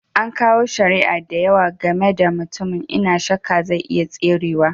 An kawo shari'a da yawa gaba da mutumin, n'na shakka zai iya tserewa.